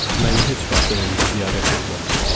Məni heç vaxt evimdə ziyarət etməmisiniz.